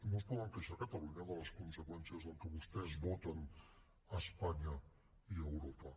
no es poden queixar a catalunya de les conseqüències del que vostès voten a espanya i a europa